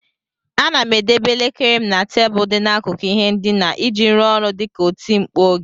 Ana m edebe elekere m na tebụl dị n'akụkụ ihe ndina iji rụọ ọrụ dị ka oti mkpu oge.